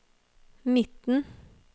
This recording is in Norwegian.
midten